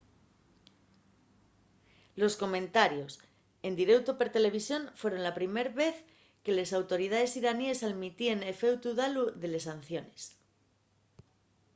los comentarios en direuto per televisión fueron la primer vez que les autoridaes iranines almitíen efectu dalu de les sanciones